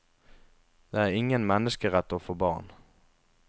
Det er ingen menneskerett å få barn.